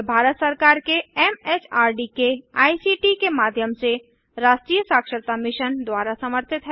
यह भारत सरकार के एमएचआरडी के आईसीटी के माध्यम से राष्ट्रीय साक्षरता मिशन द्वारा समर्थित है